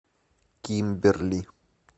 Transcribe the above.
кимберли